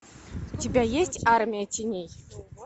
у тебя есть армия теней